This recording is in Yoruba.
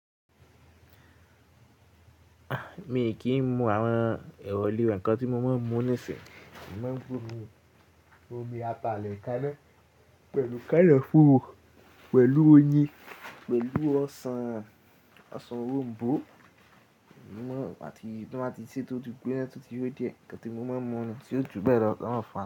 A mi kì í mọ àwọn èrò lè wẹ̀ kan tí mo máa ń mu nísìnyí. Mo mọ́ bọ́ọ̀lù, omi Apalẹ̀ kaná pẹ̀lú kẹ́lẹ́ fówó, pẹ̀lú oyin, pẹ̀lú ọsàn, ọsàn òròm̀bó. Mo mọ̀ tí mo máa ti ṣè tótì gbígbẹ́ tótì yó jẹ, nǹkan tí mo máa ń mu ni, ṣe ó dùn bẹ́ẹ̀ lọ, sanwó fàá.